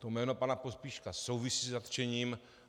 To jméno pana Pospíška souvisí se zatčením.